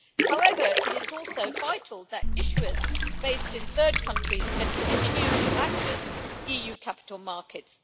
However, it is also vital that issuers based in third countries can continue to access EU capital markets.